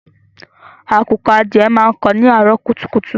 Àkùkọ adìẹ máa ń kó ni àárọ̀ kùtùkùtù.